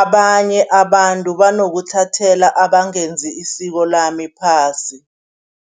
abanye abantu banokuthathela abangenzi isiko lami phasi.